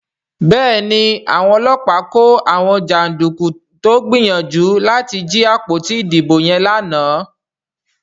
Béèni Àwọn ọlọ́pàá kò àwọn janduku tó gbìyànjú láti jí àpótí ìdìbò yen lànà.